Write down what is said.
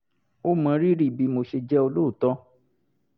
ó mọ rírì bí mo ṣe jẹ́ olóòótọ́